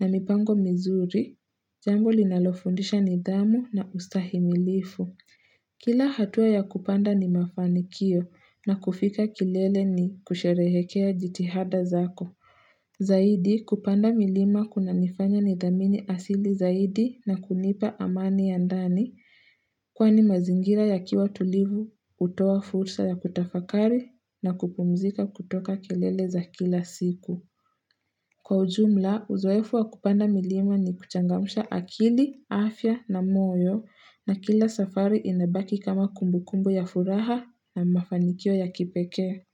na mipango mizuri, jambo linalofundisha nidhamu na ustahimilifu. Kila hatua ya kupanda ni mafanikio na kufika kilele ni kusherehekea jitihada zako. Zaidi kupanda milima kuna nifanya ni dhamini asili zaidi na kunipa amani ya ndani kwani mazingira yakiwa tulivu, utoa fursa ya kutafakari na kupumzika kutoka kelele za kila siku. Kwa ujumla, uzoefu wa kupanda milima ni kuchangamusha akili, afya na moyo na kila safari inabaki kama kumbukumbu ya furaha na mafanikio ya kipeke.